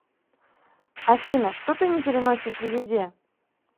афина что ты не переносишь в еде